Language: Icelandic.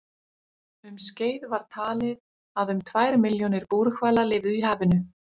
Um skeið var talið að um tvær milljónir búrhvala lifðu í hafinu.